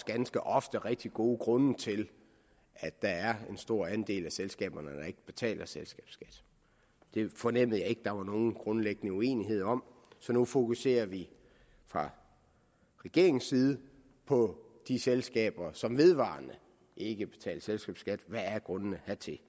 ganske ofte rigtig gode grunde til at der er en stor del af selskaberne der ikke betaler selskabsskat det fornemmede jeg ikke der var nogen grundlæggende uenighed om så nu fokuserer vi fra regeringens side på de selskaber som vedvarende ikke betaler selskabsskat hvad grundene er til